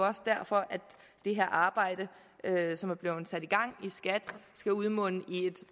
også derfor det her arbejde som er blevet sat i gang i skat skal munde ud i et